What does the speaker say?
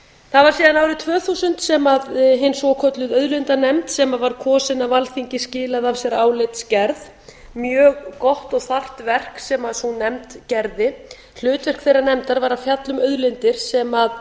það var síðan árið tvö þúsund sem svokölluð auðlindanefnd sem var kosin var af alþingi skilaði af sér álitsgerð mjög gott og þarft verk sem sú nefnd gerði hlutverk þeirrar nefndar var að fjalla um auðlindir sem